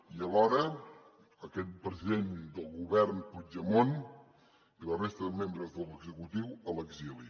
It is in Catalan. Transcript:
i alhora aquest president del govern puigdemont i la resta de membres de l’executiu a l’exili